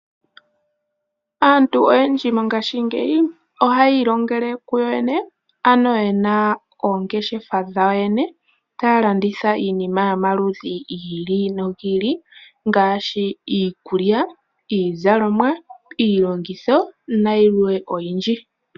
Aantu oyendji mongashingeyi ohaya ilongele kuyoyene ano yena oongeshefa dhawo yene, taya landitha iinima yomaludhi gi ili nogi ili ngaashi, iikulya, iizalomwa, iilongitho, nayilwe oyindji.